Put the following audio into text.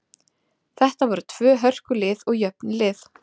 Þetta eru tvö hörku lið og jöfn lið.